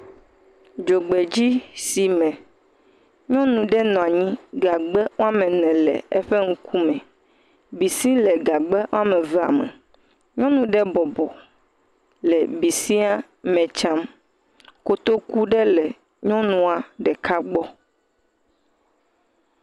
Dzogbedzisime, nyɔnu ɖe nɔ anyi. Gagba ene le eƒe ŋkume. Bisi le gagba evea me. Nyɔnu ɖe bɔbɔ le bisia me tsam. Kotoku ɖe le nyɔnua ɖeka gbɔ.